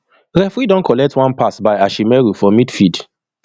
referee don collect one pass by ashimeru for midfield